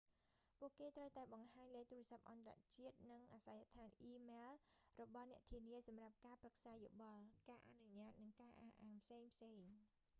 ពួកគេ​ត្រូវតែ​បង្ហាញ​លេខទូរសព្ទអន្តរជាតិ និងអាសយដ្ឋាន​អ៊ីមែលរបស់អ្នកធានាសម្រាប់ការប្រឹក្សាយោបល់/ការអនុញាត្ត និងការអះអាងផ្សេងៗ។